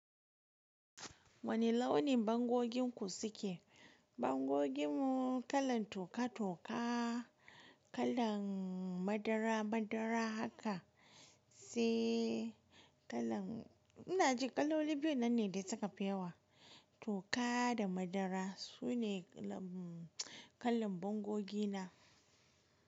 Wane launin bangoginku suke? Bangoginmu kalan toka-toka, kalan madara-madara haka sai kalan ina ji kaloli biyun nan ne dai suka fi yawa toka da madara sune kalan bangogi na.